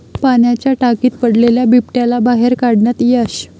पाण्याच्या टाकीत पडलेल्या बिबट्याला बाहेर काढण्यात यश